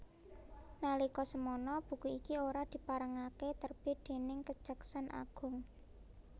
Nalika semana buku iki ora diparengaké terbit déning Kejaksan Agung